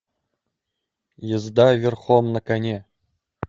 езда верхом на коне